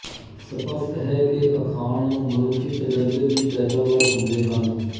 ਸਪਸ਼ਟ ਹੈ ਕਿ ਅਖਾਣ ਮਨੁੱਖੀ ਤਜ਼ਰਬੇ ਦੀ ਪੈਦਾਵਾਰ ਹੁੰਦੇ ਹਨ